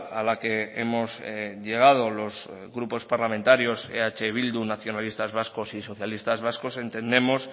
a la que hemos llegado los grupos parlamentarios eh bildu nacionalistas vascos y socialistas vascos entendemos